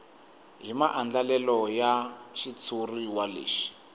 hi maandlalelo ya xitshuriwa lexi